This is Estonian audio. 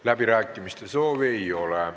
Läbirääkimiste soovi ei ole.